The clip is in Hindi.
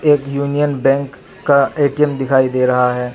एक यूनियन बैंक का ए_टी_एम दिखाई दे रहा है.